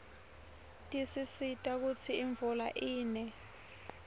tisisita kutsi imvula ine